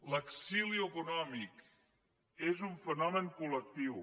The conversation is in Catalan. l’exili econòmic és un fenomen col·lectiu